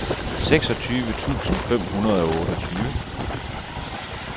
seksogtyve tusind fem hundrede og otteogtyve